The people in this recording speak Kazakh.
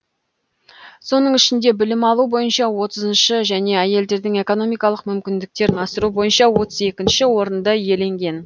соның ішінде білім алу бойынша отызыншы және әйелдердің экономикалық мүмкіндіктерін асыру бойынша отыз екінші орынды иеленген